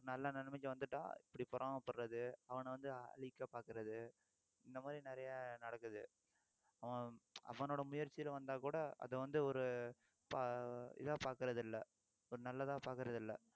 ஒரு நல்ல நிலைமைக்கு வந்துட்டா இப்படி பொறாமைப்படறது அவன வந்து அழிக்க பாக்கறது இந்த மாதிரி நிறைய நடக்குது அவன் அவனோட முயற்சியில வந்தா கூட அது வந்து ஒரு இதா பாக்கறதில்லை நல்லதா பாக்கறதில்லை